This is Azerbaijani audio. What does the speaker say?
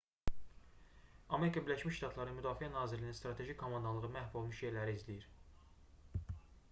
amerika birləşmiş ştatlarının müdafiə nazirliyinin strateji komandanlığı məhv olmuş yerləri izləyir